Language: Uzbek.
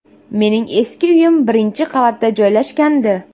Mening eski uyim birinchi qavatda joylashgandi.